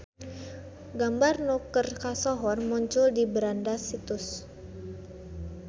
Gambar nu keur kasohor muncul di beranda situs.